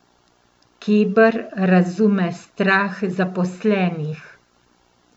Keber razume strah zaposlenih.